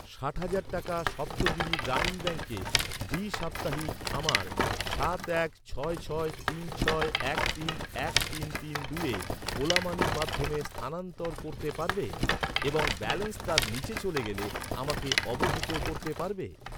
ষাট হাজার টাকা সপ্তগিরি গ্রামীণ ব্যাঙ্কে দ্বিসাপ্তাহিক আমার সাত এক ছয় ছয় তিন ছয় এক তিন এক তিন তিন দুইয়ে ওলা মানির মাধ্যমে স্থানান্তর করতে পারবে এবং ব্যালেন্স তার নিচে চলে গেলে আমাকে অবহিত করতে পারবে?